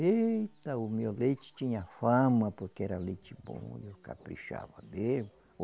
Eita, o meu leite tinha fama, porque era leite bom, eu caprichava mesmo.